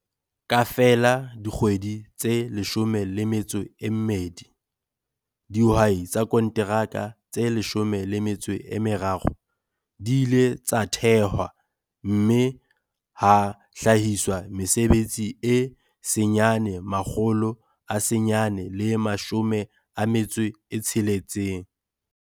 Ka feela dikgwedi tse 12, dihwai tsa konteraka tse 13 di ile tsa thehwa mme ha hlahiswa mesebetsi e 960.